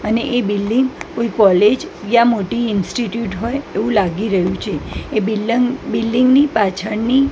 અને એ બિલ્ડીંગ કોય કૉલેજ યા મોટી ઇન્સ્ટિટ્યૂટ હોય એવુ લાગી રહ્યું છે એ બિલ્ડન્ગ બિલ્ડીંગ ની પાછળની--